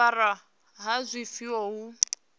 u amara ha zwifuwo hu